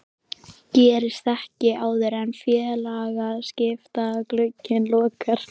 Gerist ekkert áður en félagaskiptaglugginn lokar?